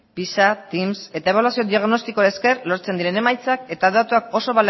pisa eta ebaluazio diagnostikoei esker lortzen diren emaitzak eta datuak oso